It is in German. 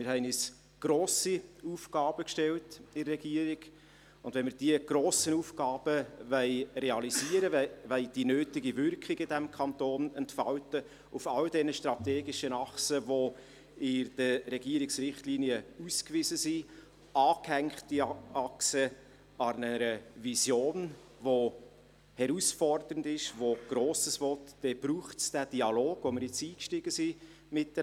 Wir haben uns in der Regierung grosse Aufgaben gestellt, und wenn wir diese grossen Aufgaben realisieren wollen, die nötige Wirkung in diesem Kanton entfalten wollen – auf all diesen strategischen Achsen, die in den Regierungsrichtlinien ausgewiesen sind und die an eine Vision angehängt sind, die herausfordernd ist und Grosses will –, dann braucht es diesen Dialog, in den wir jetzt miteinander eingestiegen sind.